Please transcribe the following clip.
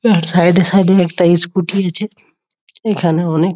side -এ side -এ একটা স্কুটি আছে এইখানে অনেক--